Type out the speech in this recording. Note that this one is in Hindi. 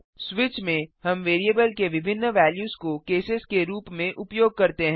स्विच में हम वैरिएबल के विभिन्न वेल्यूस को केसेस के रूप में उपयोग करते हैं